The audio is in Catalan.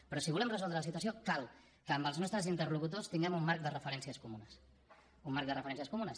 però si volem resoldre la situació cal que amb els nostres interlocutors tinguem un marc de referències comunes un marc de referències comunes